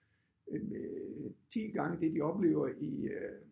Øh 10 gange det de oplever i øh